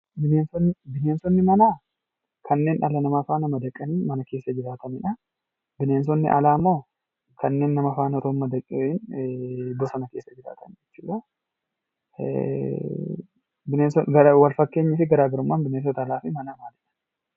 Bineensonni manaa kanneen dhala namaa faana madaqanii mana keessa jiraatanidha. Bineensonni alaa immoo kanneen nama faana osoo hin madaqiin bosona keessa jiraatan jechuudha. Walfakkeenyii fi garaa garummaan bineensota manaa fi alaa maali?